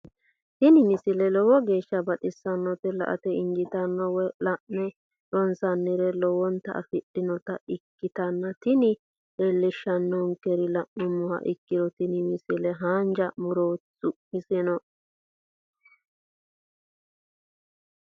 tini misile lowo geeshsha baxissannote la"ate injiitanno woy la'ne ronsannire lowote afidhinota ikkitanna tini leellishshannonkeri la'nummoha ikkiro tini misile haanja murooti su'misino qomboixhote